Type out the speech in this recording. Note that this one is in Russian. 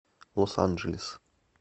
лос анджелес